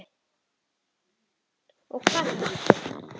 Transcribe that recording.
Og hvað það þýddi.